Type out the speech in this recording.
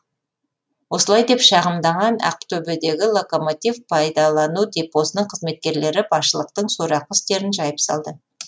осылай деп шағымданған ақтөбедегі локомотив пайдалану депосының қызметкерлері басшылықтың сорақы істерін жайып салды